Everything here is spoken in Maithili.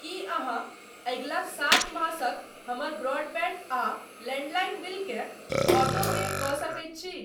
की अहाँ अगिला सात मासक हमर ब्रॉडबैंड आ लैंडलाइन बिलकेँ ऑटोपे कऽ सकैत छी?